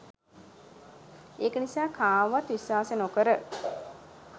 ඒක නිසා කාවවත් විස්වාස නොකර